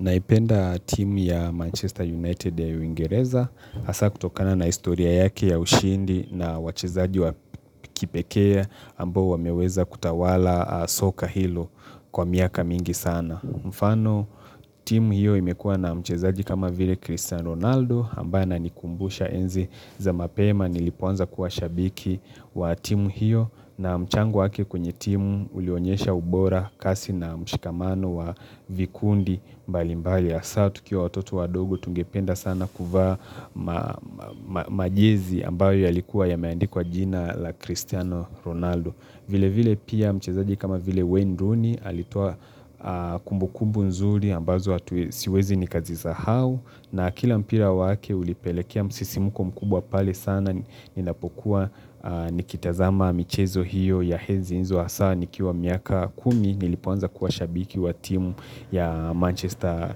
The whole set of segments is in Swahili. Naipenda timu ya Manchester United ya uingereza haswa kutokana na historia yake ya ushindi na wachezaji wa kipekee ambao wameweza kutawala soka hilo kwa miaka mingi sana. Mfano timu hiyo imekua na mchezaji kama vile Cristiano Ronaldo ambaye ananikumbusha enzi za mapema nilipoanza kuwa shabiki wa timu hiyo na mchango waki kwenye timu ulionyesha ubora kasi na mshikamano wa vikundi mbali mbali ya haswa tukiwa watoto wa adogo tungependa sana kuvaa majezi ambayo yalikuwa yameandikwa jina la Cristiano Ronaldo vile vile pia mchezaji kama vile Wayne Rooney alitoa kumbukumbu nzuri ambazo hatu siwezi nikazisahau na kila mpira wake ulipelekea msisimuko mkubwa pale sana ninapokuwa nikitazama michezo hiyo ya enzi hizo hasa nikiwa miaka kumi nilipoanza kuwa shabiki wa timu ya Manchester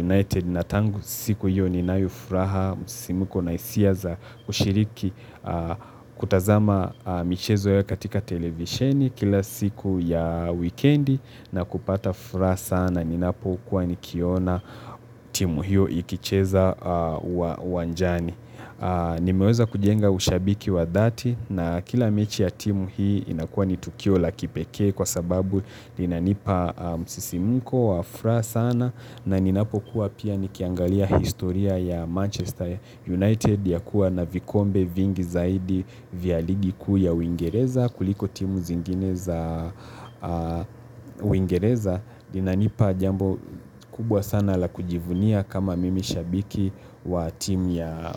United. Natangu siku hiyo ninayofuraha, msisimuko na hisia za kushiriki kutazama michezo yao katika televisheni kila siku ya wikendi na kupata furaha sana. Ninapokua nikiona timu hiyo ikicheza uwanjani. Nimeweza kujenga ushabiki wa dhati na kila mechi ya timu hii inakuwa ni tukio la kipekee kwa sababu inanipa msisimuko wa furaha sana. Na ninapo kuwa pia nikiangalia historia ya Manchester United ya kuwa na vikombe vingi zaidi vya ligi kuu ya uingereza kuliko timu zingine za uingereza Inanipa jambo kubwa sana la kujivunia kama mimi shabiki wa timu ya.